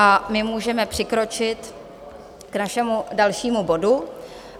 A my můžeme přikročit k našemu dalšímu bodu.